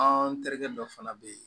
An terikɛ dɔ fana be ye